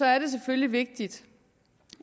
er det selvfølgelig vigtigt